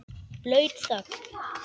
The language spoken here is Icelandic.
Blaut þögn.